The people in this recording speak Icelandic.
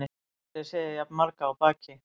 Aldrei séð jafn marga á baki